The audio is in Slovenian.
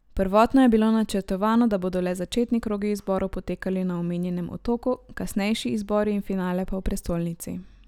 Prvotno je bilo načrtovano, da bodo le začetni krogi izborov potekali na omenjenem otoku, kasnejši izbori in finale pa v prestolnici.